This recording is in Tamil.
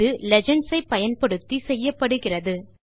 இது லீஜெண்ட்ஸ் ஐ பயன்படுத்தி செய்யப்படுகிறது